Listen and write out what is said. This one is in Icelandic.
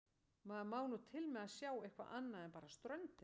Maður má nú til með að sjá eitthvað annað en bara ströndina.